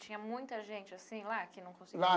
Tinha muita gente assim lá que não conseguia. Lá.